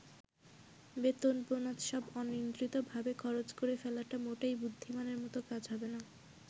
বেতন-বোনাস সব অনিয়ন্ত্রিতভাবে খরচ করে ফেলাটা মোটেই বুদ্ধিমানের মতো কাজ হবে না।